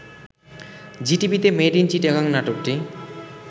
জিটিভিতে made in Chittagong নাটকটি